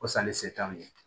Ko sanni se t'anw ye